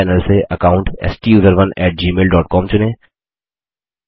बाएँ पैनल से account STUSERONEgmail dot com चुनें